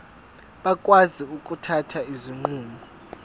bakwazi ukuthatha izinqumo